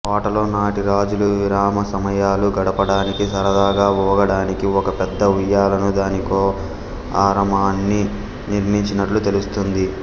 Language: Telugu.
కోటలో నాటి రాజులు విరామ సమయాలు గడపడానికి సరదాగా ఊగడానికి ఒక పెద్ద ఊయలను దానికో ఆరామాన్ని నిర్మించినట్లు తెలుస్తుంది